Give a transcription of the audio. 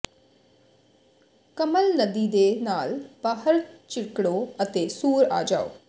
ਕੰਮਲ ਨਦੀ ਦੇ ਨਾਲ ਬਾਹਰ ਚਿੱਕੜੋ ਅਤੇ ਸੂਰ ਆ ਜਾਓ